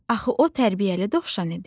Axı o tərbiyəli dovşan idi.